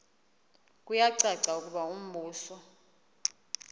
kuyacaca ukuba umbuso